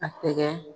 A tɛgɛ